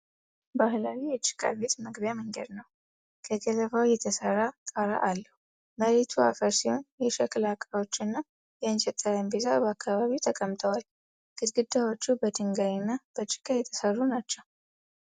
ባህላዊ የጭቃ ቤት መግቢያ መንገድ ነው። ከገለባ የተሰራ ጣራ አለው። መሬቱ አፈር ሲሆን የሸክላ ዕቃዎች እና የእንጨት ጠረጴዛ በአካባቢው ተቀምጠዋል። ግድግዳዎቹ በድንጋይና በጭቃ የተሰሩ ናቸው።